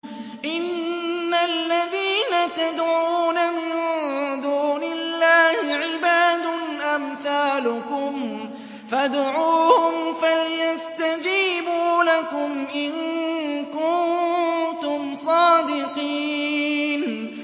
إِنَّ الَّذِينَ تَدْعُونَ مِن دُونِ اللَّهِ عِبَادٌ أَمْثَالُكُمْ ۖ فَادْعُوهُمْ فَلْيَسْتَجِيبُوا لَكُمْ إِن كُنتُمْ صَادِقِينَ